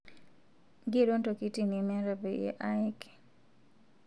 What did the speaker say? Nkero ntokitin nimiata payie ayeki